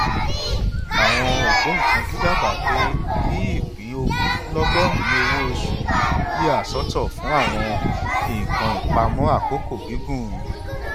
àwọn ògbóǹkangí dábàá pé kí ìpín ogún lọgọrùnún owó oṣù ya sọtọ fún àwọn nǹkan ìpamọ àkókò gígùn